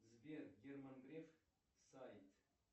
сбер герман греф сайт